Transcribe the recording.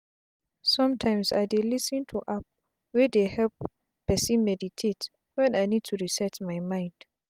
sometimes i dey lis ten to app wey dey hep person meditate wen i need to reset my mind